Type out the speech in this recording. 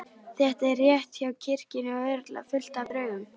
Þetta er rétt hjá kirkjunni og örugglega fullt af draugum.